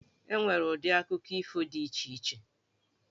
E nwere ụdị akụkọ ifo dị iche iche.